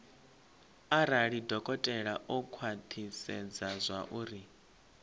arali dokotela o khwathisedza zwauri